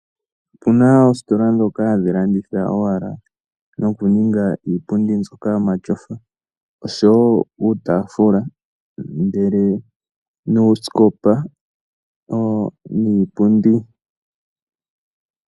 Opena oositola dhoka hadhi landitha owala nokuninga iipundi mbyoka yomatyofa osho woo uutafula ndele nuusikopa niipundi.